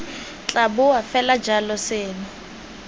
tla boa fela jalo seno